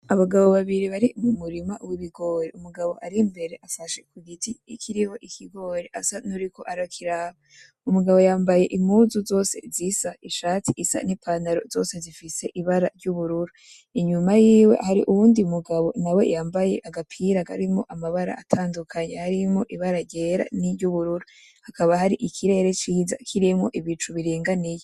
Abagabo babiri bari mu murima w'ibigori, umugabo ar'imbere afashe ku giti kiriho ikigori asa n'uwuriko arakiraba, umugabo yambaye impuzu zose zisa ishati isa n'ipantaro zose zifise ibara ry'ubururu, inyuma yiwe hari uyundi mugabo yambaye agapira karimwo amabara atandukanye arimwo ibara ryera; n'iryubururu. Hakaba hari ikirere ciza kirimwo ibicu biringaniye.